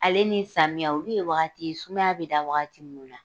Ale ni samiya olu ye wagatiw ye, sumaya bɛ da wagati minnu na.